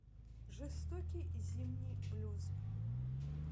жестокий зимний блюз